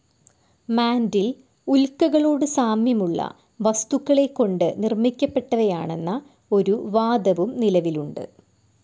Mantle ഉല്ക്കകളോടു സാമ്യമുള്ള വസ്തുക്കളെക്കൊണ്ടു നിർമ്മിക്കപ്പെട്ടവയാണെന്ന ഒരു വാദവും നിലവിലുണ്ട്.